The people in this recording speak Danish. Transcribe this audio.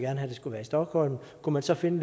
have at det skulle være i stockholm kunne man så finde